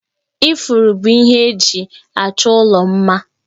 Ifuru bụ ihe eji achọ ụlọ mma